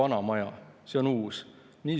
On raske aru saada, mida see õigupoolest tähendab.